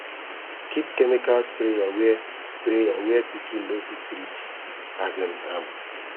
keep chemical sprayer where sprayer where pikin no fit reach um am